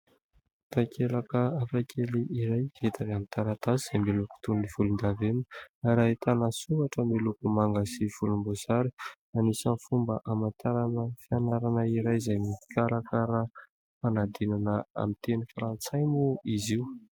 Takelaka hafakely iray hita amin'ny taratasy izay miloko toy ny volon-davenina ary ahitana soratra miloko manga sy volom-bosary. Anisan'ny fomba aman-tarana fianarana iray, izay mikarakara ny fanadinana amin'ny teny farantsay moa izy io.